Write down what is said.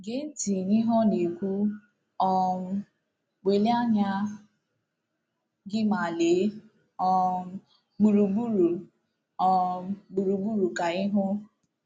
Gee ntị n’ihe ọ na-ekwu: um “ Welie anya gị ma lee um gburugburu um gburugburu ka ị hụ. ”